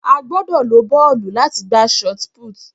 A gbọ́dọ̀ lo bọ́ọ̀lù láti gbá shotput.